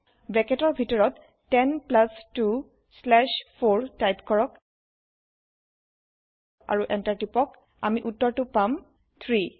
ব্ৰেকেতৰ ভিতৰত 10 plus 2 slash 4 type কৰক আৰু Enter টিপক আমি উত্তৰটো পাম 3